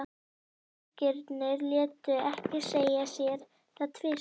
Drengirnir létu ekki segja sér það tvisvar.